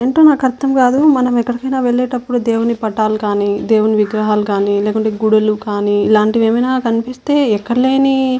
ఏంటో నాకు అర్థం కాదు మనం ఎక్కడికైనా వెళ్లేటప్పుడు దేవుని పటాలు కానీ దేవుని విగ్రహాలు కానీ లేకుంటే గుడులు కాని ఇలాంటివి ఏమైనా కనిపిస్తే ఎక్కడలేని --